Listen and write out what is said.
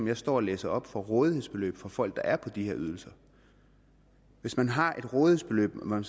jeg står og læser op for rådighedsbeløb for folk der er på de her ydelser hvis man har et rådighedsbeløb når man